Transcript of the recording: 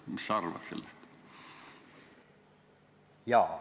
Mis sa arvad sellest?